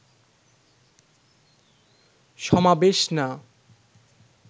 সমাবেশ না